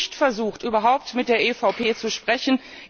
Sie haben nicht versucht, überhaupt mit der EVP zu sprechen.